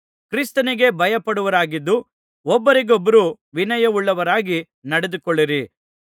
ಕ್ರಿಸ್ತನಿಗೆ ಭಯಪಡುವವರಾಗಿದ್ದು ಒಬ್ಬರಿಗೊಬ್ಬರು ವಿನಯವುಳ್ಳವರಾಗಿ ನಡೆದುಕೊಳ್ಳಿರಿ